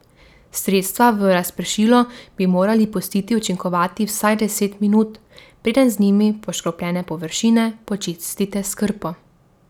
Sredstva v razpršilu bi morali pustiti učinkovati vsaj deset minut, preden z njimi poškropljene površine počistite s krpo.